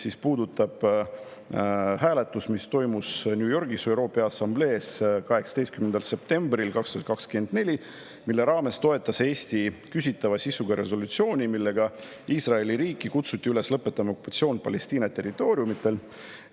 See puudutab hääletust, mis toimus New Yorgis ÜRO Peaassamblees 18. septembril 2024 ja kus Eesti toetas küsitava sisuga resolutsiooni, millega kutsuti Iisraeli riiki üles lõpetama okupatsioon Palestiina territooriumidel.